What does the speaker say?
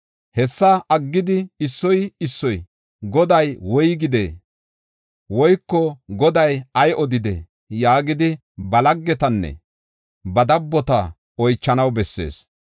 Hessa aggidi issoy issoy, ‘Goday woygidee? woyko Goday ay odidee?’ yaagidi ba laggetanne ba dabbota oychanaw bessees.